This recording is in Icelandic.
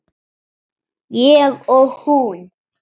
Ég og hún.